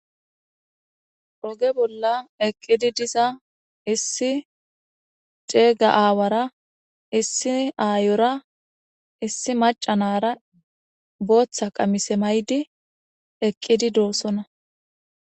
Oge bolla eqqidi diza issi ceega aawara issi aayora issi macanara booththa qamise maydi eqqidi doossona.